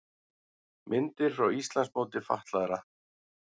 Myndir frá Íslandsmóti fatlaðra